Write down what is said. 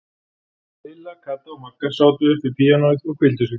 Lilla, Kata og Magga sátu upp við píanóið og hvíldu sig.